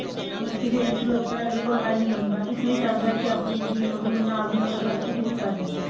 ਮਲਕੀ ਫੇਰ interlock ਕਰਿਆ ਅਗਲੇ ਕੋਲ time ਨਹੀਂ ਹੁੰਦਾ ਇਸਲਈ ਚਾਹੰਦਾ ਹੈ ਕਿ ਆਪਣੀ ਮਸ਼ੀਨ ਹੋਵੇ ਮੈਂ ਨਾਲ ਦੀ ਨਾਲ ਅਗਲਾ ਖੁਦ ਹੀ ਕਰ ਲਿੰਦਾ